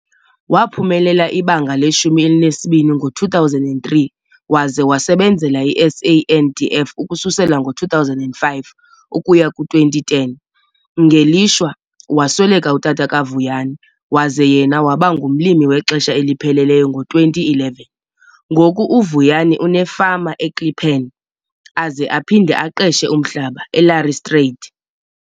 Waphumelela iBanga le-12 ngo-2003 waze wasebenzela iSANDF ukususela ngo-2005 ukuya ku-2010. Ngelishwa, wasweleka utata kaVuyani waze yena waba ngumlimi wexesha elipheleleyo ngo-2011. Ngoku uVuyani unefama iKlippan aze aphinde aqeshe umhlaba eLareystryd.